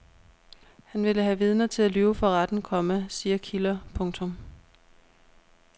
Han ville have vidner til at lyve for retten, komma siger kilder. punktum